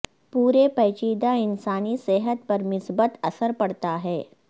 پورے پیچیدہ انسانی صحت پر مثبت اثر پڑتا ہے